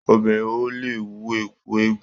Obìnrin o le wọ ẹkú eégún.